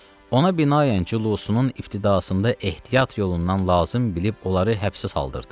Ona binaən cülusunun ibtidasında ehtiyat yolundan lazım bilib onları həbsə saldırdı.